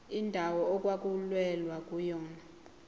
indawo okwakulwelwa kuyona